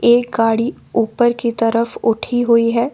एक गाड़ी ऊपर की तरफ उठी हुई है।